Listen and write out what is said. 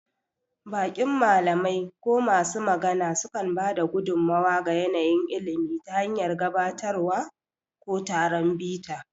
Baƙin malamai ko masu magana sukan ba da gudummawa ga yanayin ilimi ta hanyar gabatarwa ko taron bita.